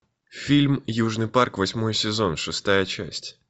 фильм южный парк восьмой сезон шестая часть